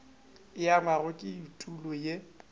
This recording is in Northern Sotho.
e angwago ke etulo ye